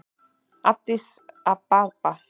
Addis Ababa